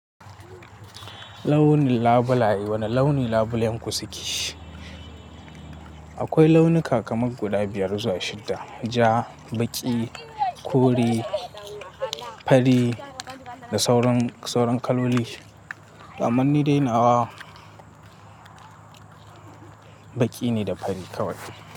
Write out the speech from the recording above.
Launi labulai wane launi labulen ku suke? Akwai launuka kamar guda biyar zuwa shidda, ja, baƙi, kore, fari da sauran kaloli. Ammanni dainawa baƙi ne da fari kawai.